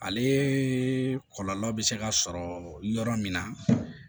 Ale kɔlɔlɔ bɛ se ka sɔrɔ yɔrɔ min na